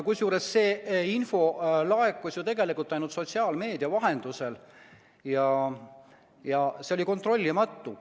Kusjuures see info laekus ju tegelikult ainult sotsiaalmeedia vahendusel ja oli kontrollimata.